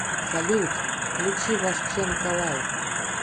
салют включи вашченко лайф